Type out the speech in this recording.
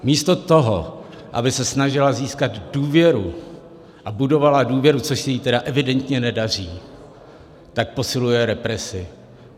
Místo toho, aby se snažila získat důvěru a budovala důvěru, což se jí tedy evidentně nedaří, tak posiluje represi.